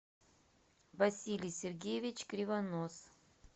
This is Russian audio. василий сергеевич кривонос